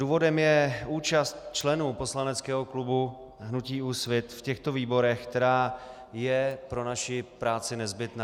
Důvodem je účast členů poslaneckého klubu hnutí Úsvit v těchto výborech, která je pro naši práci nezbytná.